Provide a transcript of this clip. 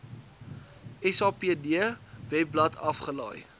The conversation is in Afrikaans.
sapd webblad afgelaai